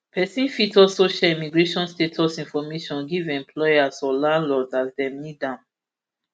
pesin fit also share immigration status information give employers or landlords as dem need am